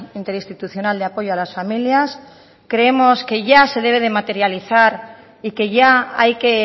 interinstitucional de apoyo a las familias creemos que ya se debe de materializar y que ya hay que